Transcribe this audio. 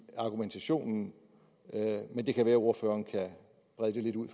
argumentationen men det kan være at ordføreren kan rede det lidt ud